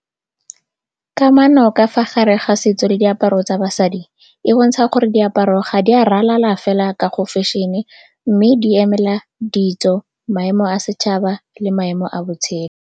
Kamano ka fa gare ga setso le diaparo tsa basadi, e bontsha gore diaparo ga di a ralala fela ka go fashion-e, mme di emela ditso, maemo a setšhaba le maemo a botshelo.